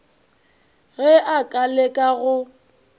ge a ka leka go